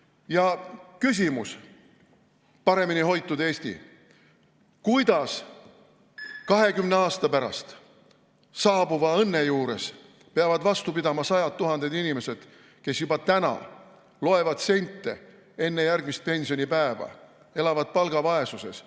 Ja küsimus, paremini hoitud Eesti: kuidas 20 aasta pärast saabuva õnne juures peavad vastu pidama sajad tuhanded inimesed, kes juba täna loevad sente enne järgmist pensionipäeva ja elavad palgavaesuses?